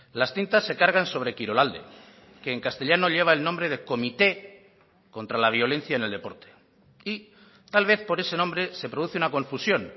las tintas se cargan sobre kirolalde que en castellano lleva el nombre de comité contra la violencia en el deporte y tal vez por ese nombre se produce una confusión